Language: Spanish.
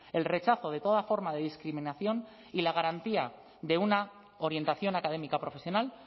el rechazo de toda forma de discriminación y la garantía de una orientación académica profesional